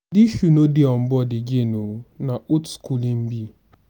dis shoe no dey on board again o na old skool im be.